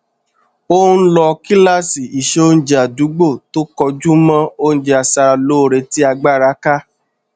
ó n lọ kíláàsì ìseoúnjẹ àdúgbò tó kọjú mọ oúnjẹ aṣara lóore tí agbára ká